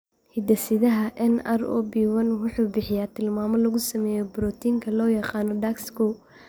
Hidde-sidaha NR0B1 wuxuu bixiyaa tilmaamo lagu sameeyo borotiinka loo yaqaan DAX kow.